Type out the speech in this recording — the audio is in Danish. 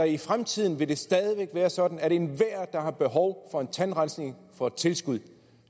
i fremtiden stadig væk vil være sådan at enhver der har behov for en tandrensning får et tilskud